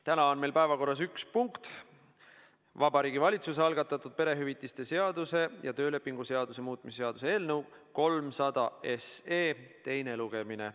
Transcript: Täna on meil päevakorras üks punkt: Vabariigi Valitsuse algatatud perehüvitiste seaduse ja töölepingu seaduse muutmise seaduse eelnõu 300 teine lugemine.